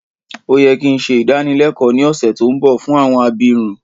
Ó yẹ ki n se ìdánilẹ́kọ ni ọ̀ṣẹ̀ to nbọ fún àwọn abirun